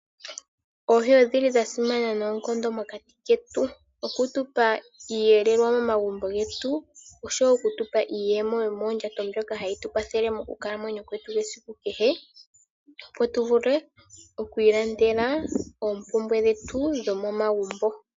Oohi odhili dhasimana noonkondo mokati ketu okutupa iihelelwa momagumbo getu osho wo okutupa iiyemo yomoondjato mbyoka hayi tukwathele mokukalamwenyo kwetu kwesiku kehe opo tuvule okwiilandela oompumbwe dhetu dhomomagumbo.